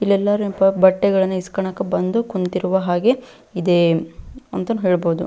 ಇಲ್ಲಿ ಎಲ್ಲರೂ ಎಂಪೋ ಬಟ್ಟೆಗಳನ್ನು ಇಸ್ಕೊನಕೆ ಬಂದು ಕುಂತಿರುವ ಹಾಗೆ ಇದೆ ಅಂತ ಹೇಳ್ಬಹುದು.